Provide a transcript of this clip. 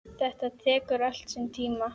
Þetta tekur allt sinn tíma.